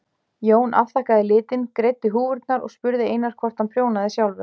Jón afþakkaði litinn, greiddi húfurnar og spurði Einar hvort hann prjónaði sjálfur.